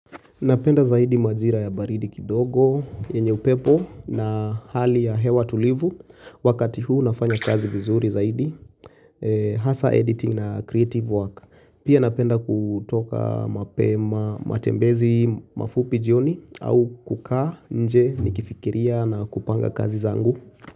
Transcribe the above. Napenda zaidi majira ya baridi kidogo, yenye upepo na hali ya hewa tulivu wakati huu nafanya kazi vizuri zaidi. Hasa editing na creative work. Pia napenda kutoka mapema matembezi mafupi jioni au kukaa nje nikifikiria na kupanga kazi zangu.